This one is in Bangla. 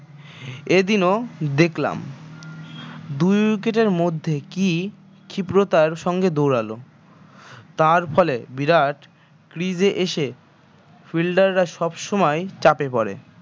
এদিনও দেখলাম দুই wicket এর মধ্যে কী ক্ষিপ্রতার সঙ্গে দৌড়াল তার ফলে বিরাট crease এ এসে fielder রা সবসময় চাপে পড়ে